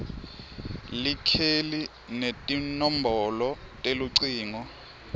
likheli netinombolo telucingo